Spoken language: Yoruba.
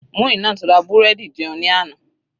Muinat ra búrẹ́dì jẹun ní àná.